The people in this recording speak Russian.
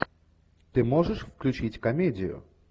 ты можешь включить комедию